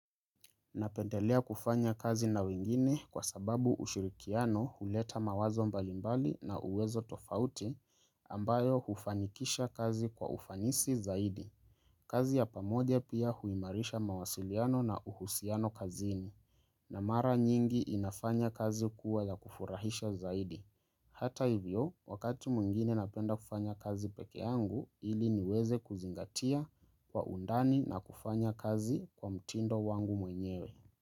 Napendelea kufanya kazi na wengine kwa sababu ushirikiano huleta mawazo mbalimbali na uwezo tofauti ambayo hufanikisha kazi kwa ufanisi zaidi. Kazi ya pamoja pia huimarisha mawasiliano na uhusiano kazini. Na mara nyingi inafanya kazi kuwa ya kufurahisha zaidi. Hata hivyo, wakati mwingine napenda kufanya kazi pekee yangu ili niweze kuzingatia kwa undani na kufanya kazi kwa mtindo wangu mwenyewe.